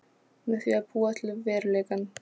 Með því að búa til veruleikann.